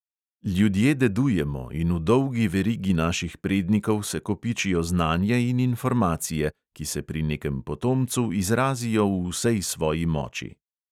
Ljudje dedujemo in v dolgi verigi naših prednikov se kopičijo znanje in informacije, ki se pri nekem potomcu izrazijo v vsej svoji moči.